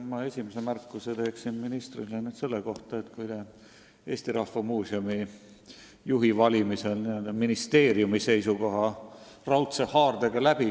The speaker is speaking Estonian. Ma teen esimese märkuse ministrile selle kohta, et Eesti Rahva Muuseumi juhi valimisel surusite te ministeeriumi tahte raudse haardega läbi.